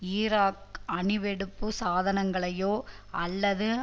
Iraq அணு வெடிப்பு சாதனங்களையோ அல்லது